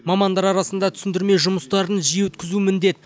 мамандар арасында түсіндірме жұмыстарын жиі өткізу міндет